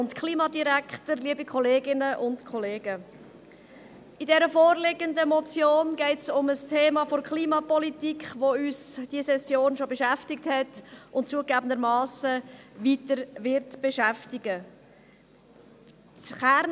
In der vorliegenden Motion geht es um ein Thema der Klimapolitik, die uns in dieser Session bereits beschäftigt hat und zugegeben weiterhin beschäftigen wird.